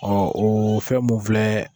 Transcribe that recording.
Ɔ o fɛn mun filɛ